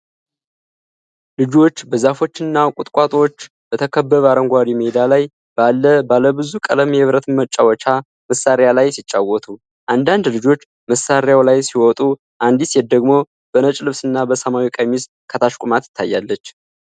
ልጆች በዛፎችና ቁጥቋጦዎች በተከበበ አረንጓዴ ሜዳ ላይ ባለ ባለብዙ ቀለም የብረት መጫወቻ መሳሪያ ላይ ሲጫወቱ ። አንዳንድ ልጆች በመሳሪያው ላይ ሲወጡ፣ አንዲት ሴት ደግሞ በነጭ ልብስና በሰማያዊ ቀሚስ ከታች ቆማ ትታያለች።